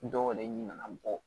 Dɔw yɛrɛ ɲin na bɔ